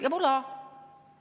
Ja voilà!